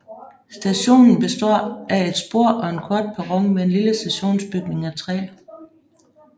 Stationen består af et spor og en kort perron med en lille stationsbygning af træ